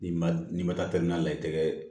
N'i ma n'i ma taa la i tɛgɛ ye